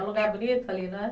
É um lugar bonito ali, né?